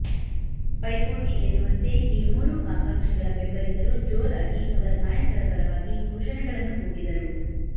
ಪೈಪೋಟಿ ಎನ್ನುವಂತೆ ಈ ಮೂರು ಆಕಾಂಕ್ಷಿಗಳ ಬೆಂಬಲಿಗರು ಜೋರಾಗಿ ಅವರ ನಾಯಕರ ಪರವಾಗಿ ಘೋಷಣೆಗಳನ್ನು ಕೂಗಿದರು